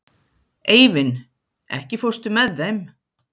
Eivin, ekki fórstu með þeim?